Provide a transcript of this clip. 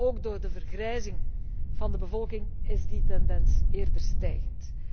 Ook door de vergrijzing van de bevolking is die tendens eerder stijgend.